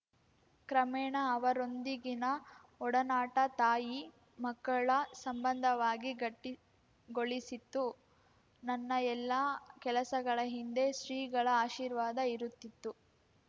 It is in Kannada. ಕ್ರಮೇಣ ಅವರೊಂದಿಗಿನ ಒಡನಾಟ ತಾಯಿಮಕ್ಕಳ ಸಂಬಂಧವಾಗಿ ಗಟ್ಟಿಗೊಳಿಸಿತ್ತು ನನ್ನ ಎಲ್ಲ ಕೆಲಸಗಳ ಹಿಂದೆ ಶ್ರೀಗಳ ಆಶೀರ್ವಾದ ಇರುತ್ತಿತ್ತು